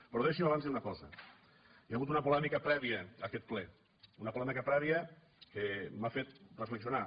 però deixi’m abans dir una cosa hi ha hagut una polèmica prèvia a aquest ple una polèmica prèvia que m’ha fet reflexionar